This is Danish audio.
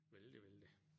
Vældigt vældigt